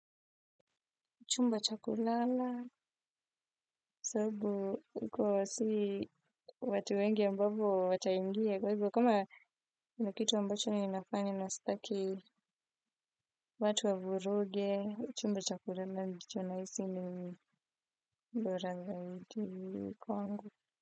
Chumba cha kulala sababu iko wazee watu wengi ambavyo wataingia kwahivyo kama kuna kitu ninafanya na sitaki watu wavuruge chumba cha kulala ndicho na hisi ni bora zaidi kwangu.